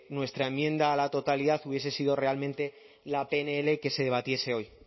nuestra enmienda a la totalidad hubiese sido realmente la pnl que se debatiese hoy